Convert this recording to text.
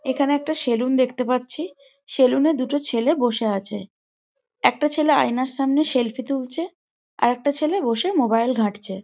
এখানে একটা সেলুন দেখতে পাচ্ছি সেলুন এ দুটি ছেলে বসে আছে। একটা ছেলে আয়নার সামনে সেলফি তুলছে। আর আরেকটা ছেলে বসে মোবাইল ঘাঁটছে।